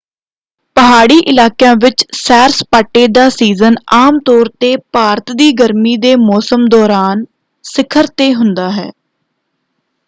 ਪਹਾੜੀ ਇਲਾਕਿਆਂ ਵਿੱਚ ਸੈਰ-ਸਪਾਟੇ ਦਾ ਸੀਜ਼ਨ ਆਮ ਤੌਰ 'ਤੇ ਭਾਰਤ ਦੀ ਗਰਮੀ ਦੇ ਮੌਸਮ ਦੌਰਾਨ ਸਿਖਰ ‘ਤੇ ਹੁੰਦਾ ਹੈ।